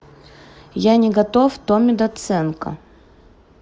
я не готов томми доценко